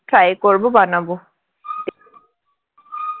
try করবো বানাবো